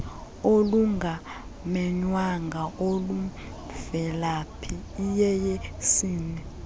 olungamenywanga olumvelaphi iyeyesini